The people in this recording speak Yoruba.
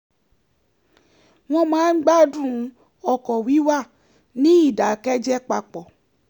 wọ́n máa ń gbádùn ọkọ̀ wíwà ní ìdákẹ́jẹ́ papọ̀